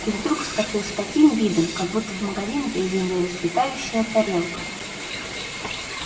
и вдруг вскочил с таким видом как будто в магазине приземлилась летающая тарелка